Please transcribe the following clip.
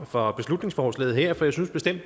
for